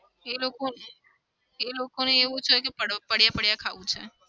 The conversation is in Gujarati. એ લોકો એ લોકોને એવું છે કે પડો પડ્યાં-પડ્યાં ખાવું છે.